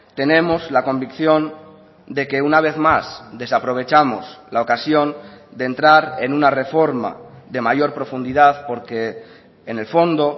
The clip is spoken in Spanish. tenemos la convicción de que una vez más desaprovechamos la ocasión de entrar en una reforma de mayor profundidad porque en el fondo